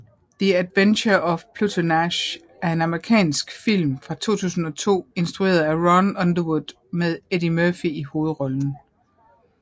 The Adventures of Pluto Nash er en amerikansk film fra 2002 instrueret af Ron Underwood med Eddie Murphy i hovedrollen